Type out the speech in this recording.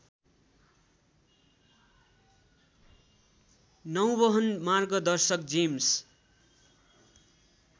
नौवहन मार्गदर्शक जेम्स